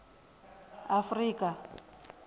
afrika